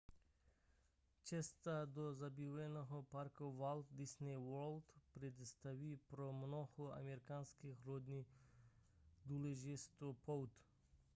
cesta do zábavního parku walt disney world představuje pro mnoho amerických rodin důležitou pouť